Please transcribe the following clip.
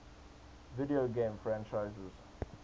video game franchises